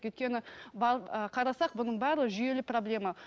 өйткені қарасақ бұның бәрі жүйелі проблема